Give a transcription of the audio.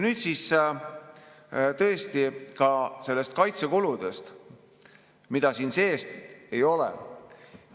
Nüüd siis ka kaitsekuludest, mida siin sees ei ole.